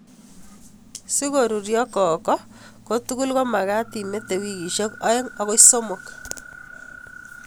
Si ko ruryo koko ko tugul ko magat imete wikeshek aeng' akoi somok